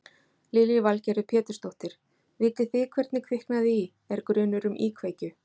Lillý Valgerður Pétursdóttir: Vitið þið hvernig kviknaði í, er grunur um íkveikju?